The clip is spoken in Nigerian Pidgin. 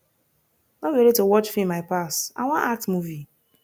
no be only to watch film i pass i wan act movie